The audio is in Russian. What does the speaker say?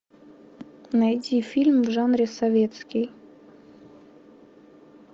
найди фильм в жанре советский